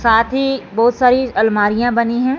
साथ ही बहुत सारी अलमारियां बनी हैं।